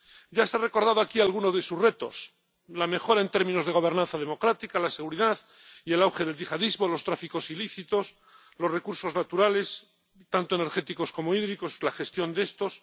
Ya se ha recordado aquí alguno de sus retos la mejora en términos de gobernanza democrática, la seguridad y el auge del yihadismo, los tráficos ilícitos, los recursos naturales —tanto energéticos como hídricos— y la gestión de estos.